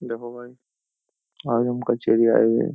देखो गाइस आज हम कचेहरी आये हुए है।